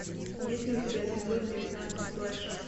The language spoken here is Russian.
есть ли у тебя эпизод девятнадцать флэш